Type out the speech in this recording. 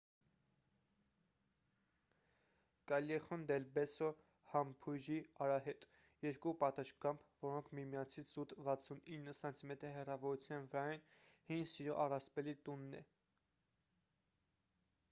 callejon del beso համբույրի արահետ: երկու պատշգամբ որոնք միմյանցից զուտ 69 սմ հեռավորության վրա են հին սիրո առասպելի տունն է: